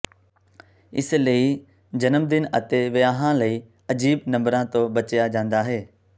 ਇਸ ਲਈ ਜਨਮਦਿਨ ਅਤੇ ਵਿਆਹਾਂ ਲਈ ਅਜੀਬ ਨੰਬਰਾਂ ਤੋਂ ਬਚਿਆ ਜਾਂਦਾ ਹੈ